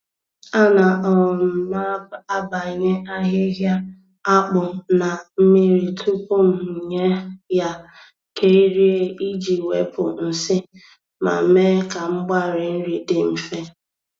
Ana um m abanya ahịhịa akpụ na mmiri tupu m nye ya ka e rie iji wepụ nsị ma mee ka mgbari nri dị mfe.